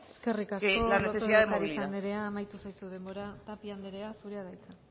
que la necesidad de movilidad eskerrik asko lópez de ocariz anderea amaitu zaizu denbora tapia anderea zurea da hitza